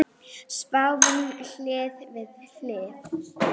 Sváfum hlið við hlið.